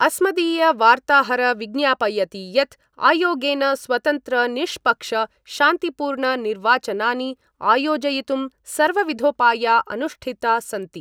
अस्मदीय वार्ताहर विज्ञापयति यत् आयोगेन स्वतन्त्र निष्पक्ष शान्तिपूर्णनिर्वाचनानि आयोजयितुं सर्वविधोपाया अनुष्ठिता सन्ति।